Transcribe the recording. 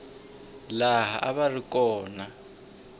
laha a va ri kona